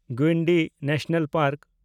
Guindy national park